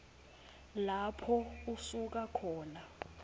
lapho usuka khona